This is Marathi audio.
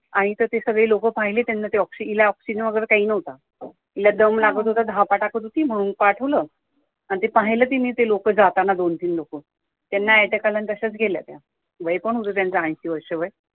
आणि इथे ते सगळे लोक पहिले त्यांना ते आला oxygen वगैरे काही नव्हतं इला दम लागत होता धापा टाकत होती म्हणून तिला पाठवलं आणि ते पाहिलं तिनी जाताना दोन तीन लोकं त्यांना attack आला आणि तश्याच गेल्या त्या वय पण होत त्यांचं ऐंशी वर्ष वय